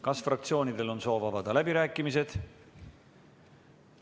Kas fraktsioonidel on soovi avada läbirääkimised?